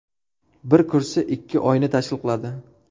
Bir kursi ikki oyni tashkil qiladi.